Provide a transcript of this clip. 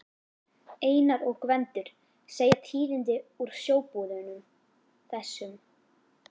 Einar og Gvendur segja tíðindi úr sjóbúðunum, þessum